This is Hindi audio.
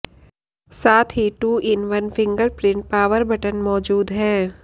साथ ही two in one fingerprint power button मौजूद है